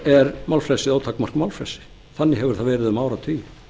er ótakmarkað málfrelsi þannig hefur það verið um áratugi